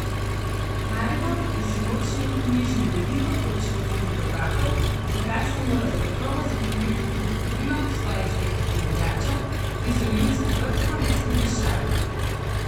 Maribor je sinoči vknjižil veliko točko v Ligi prvakov, za kar se mora zagotovo zahvaliti tudi krilom svojih zvestih navijačev, ki so Ljudski vrt ponesli v višave.